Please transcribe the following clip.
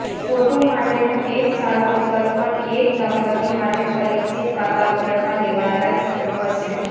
photo માટેનો એક સારો વિકલ્પ પણ એક દંપતી માટે પરિચિત વાતાવરણમાં લેવાયેલા ચિત્રો હશે